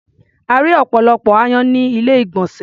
A rí́ ọ̀pọ̀lọpọ̀ aáyán ní ilé-ìgbọ̀nsè.